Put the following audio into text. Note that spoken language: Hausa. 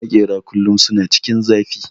Makera kullum suna cikin zafi